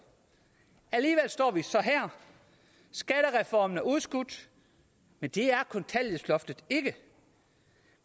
alligevel står vi så her skattereformen er blevet udskudt men det er kontanthjælpsloftet ikke